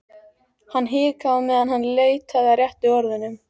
Hann hikaði á meðan hann leitaði að réttu orðunum.